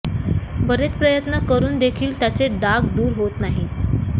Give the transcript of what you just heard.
बरेच प्रयत्न करून देखील त्याचे डाग दूर होत नाही